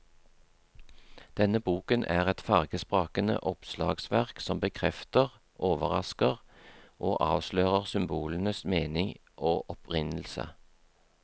Denne boken er et fargesprakende oppslagsverk som bekrefter, overrasker og avslører symbolenes mening og opprinnelse.